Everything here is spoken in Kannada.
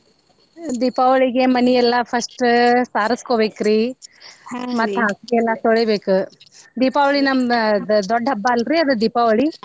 ದೀಪಾವಳಿಗೆ ಮನಿ ಎಲ್ಲಾ first ಸಾರಸ್ಕೋಬೇಕ್ರಿ ಮತ್ತ್ ಹಾಸ್ಗಿ ಎಲ್ಲಾ ತೋಳಿಬೇಕ ದೀಪಾವಳಿ ನಮ್ದ ದ್ ದೊಡ್ಡ ಹಬ್ಬಲ್ರೀ ಅದ್ ದೀಪಾವಳಿ.